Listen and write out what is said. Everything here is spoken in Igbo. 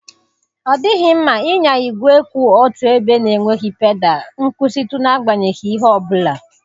Ọ dịghị mma ịnya igwe kwụ otu ebe na-enweghị pedal nkwụsịtụ n'agbanyeghị ihe ọ bụla.